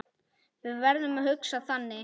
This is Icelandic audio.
Við verðum að hugsa þannig.